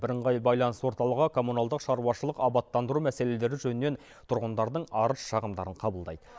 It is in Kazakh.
бірыңғай байланыс орталығы коммуналдық шаруашылық абаттандыру мәселелері жөнінен тұрғындардың арыз шағымдарын қабылдайды